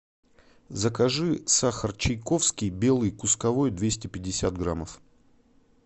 закажи сахар чайковский белый кусковой двести пятьдесят граммов